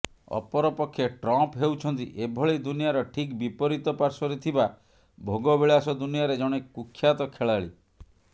ଅପରପକ୍ଷେ ଟ୍ରମ୍ପ୍ ହେଉଛନ୍ତି ଏଭଳି ଦୁନିଆର ଠିକ୍ ବିପରୀତ ପାର୍ଶ୍ବରେ ଥିବା ଭୋଗବିଳାସ ଦୁନିଆରେ ଜଣେ କୁଖ୍ୟାତ ଖେଳାଳି